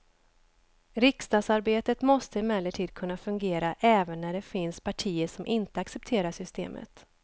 Riksdagsarbetet måste emellertid kunna fungera även när det finns partier som inte accepterar systemet.